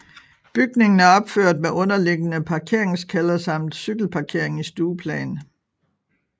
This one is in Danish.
Bygningen er opført med underliggende parkeringskælder samt cykelparkering i stueplan